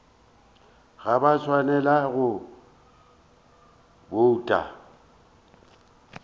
ga ba swanela go bouta